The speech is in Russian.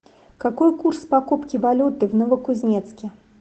какой курс покупки валюты в новокузнецке